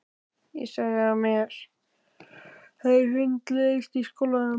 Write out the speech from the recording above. Ég sagði að mér hefði hundleiðst í skólanum!